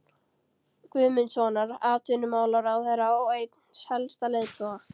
Guðmundssonar, atvinnumálaráðherra og eins helsta leiðtoga